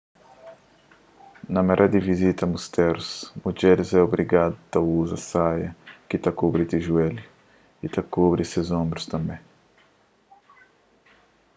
na mare di vizita mustérus mudjeris é obrigadu a uza saia ki ta kubri ti juélhu y a kubri ses onbrus tanbê